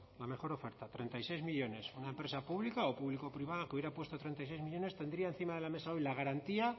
la mejor oferta treinta y seis millónes una empresa pública o público privada que hubiera puesto treinta y seis millónes tendría encima de la mesa hoy la garantía